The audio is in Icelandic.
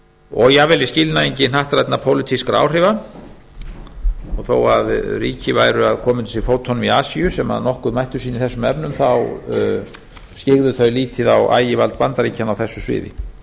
og jafnvel í skilningi hnattrænna pólitískra áhrifa og þó að ríki væru að koma undir sig fótunum í asíu sem nokkuð mátti sín í þessum efnum þá skyggðu þau lítið á ægivald bandaríkjanna á þessu sviði